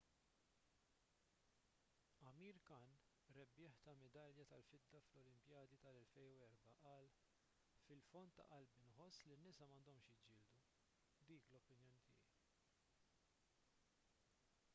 amir khan rebbieħ ta' midalja tal-fidda fl-olimpijadi tal-2004 qal fil-fond ta' qalbi nħoss li n-nisa m'għandhomx jiġġieldu dik l-opinjoni tiegħi